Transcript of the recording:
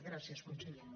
gràcies conseller